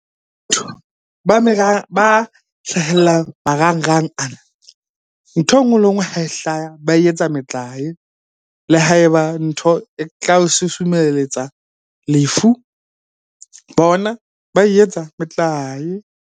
Ba hlahellang marangrang ana, nthwe nngwe le enngwe ha e hlaya ba e etsa metlae. Le ha eba ntho e tla o susumelletsa lefu, bona ba e etsa metlae.